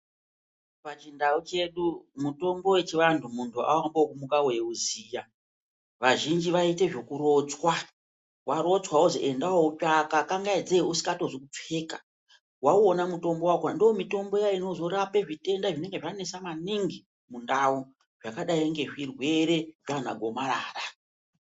Pachindau chedu mutombo wechivantu munhu aumbomuki weiuziya kazhinji vaiite zvekurotswa, warotswa wozwi enda woutsvaka kangaidzei usingatozi kupfeka, wauona mutombo wakhona ndoomutombo iya inozorape matenda anenge anesa maningi mundau zvakadayi ngezvirwere zvana gomarara.